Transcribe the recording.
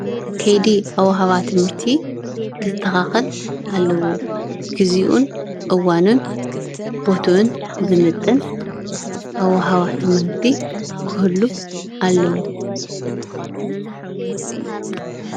ከይዲ ኣዋህባ ትምህርቲ ክሰተካከል ኣለዎ፡፡ ግዚኡን እዋንን በቱኡን ዝምጥን ኣዋህባ ትምህርቲ ክህሉ ኣለዎ፡፡